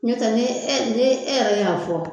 Ɲo tɛ ni e ni e yɛrɛ y' a fɔ